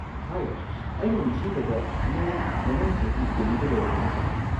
ꯍꯥꯏ, ꯑꯩꯅ ꯅꯤꯡꯁꯤꯡꯕꯗ ꯅꯪ ꯃꯃꯥꯡ ꯆꯍꯤ ꯗꯦꯜꯂꯤꯗ ꯂꯩꯔꯝꯃꯤ, ꯅꯠꯇ꯭ꯔꯥ?